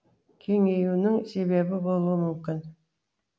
кеңеюінің себебі болуы мүмкін